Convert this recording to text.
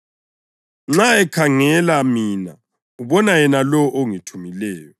Nxa ekhangela mina ubona yena lowo ongithumileyo.